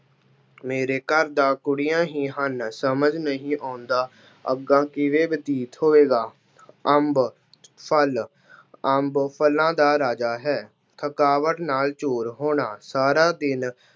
ਮੇਰੇ ਘਰ ਤਾਂ ਕੁੜੀਆਂ ਹੀ ਹਨ, ਸਮਝ ਨਹੀਂ ਆਉਂਦਾ ਅੱਗਾ ਕਿਵੇਂ ਬਤੀਤ ਹੋਵੇਗਾ। ਅੰਬ- ਫਲ- ਅੰਬ ਫਲਾਂ ਦਾ ਰਾਜਾ ਹੈ। ਥਕਾਵਟ ਨਾਲ ਚੂਰ ਹੋਣਾ- ਸਾਰਾ ਦਿਨ